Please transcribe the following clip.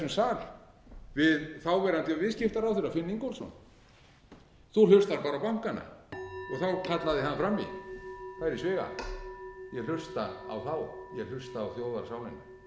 sal við þáverandi viðskiptaráðherra finn ingólfsson þú hlustar bara á bankana þá kallaði hann fram í það er í sviga ég hlusta á þá ég hlusta á þjóðarsálina það er þjóðarsálin sem hefur tekið breytingum og nú skulum